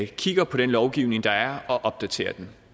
kigger på den lovgivning der er og opdaterer den